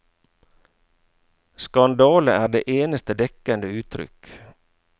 Skandale er det eneste dekkende uttrykk.